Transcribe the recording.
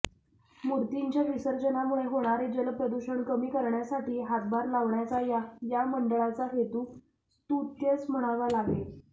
मूर्तींच्या विसर्जनामुळे होणारे जलप्रदूषण कमी करण्यासाठी हातभार लावण्याचा या मंडळाचा हेतू स्तुत्यच म्हणावा लागेल